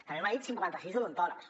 també m’ha dit cinquanta sis odontòlegs